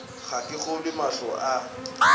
ga ke kgolwe mahlo a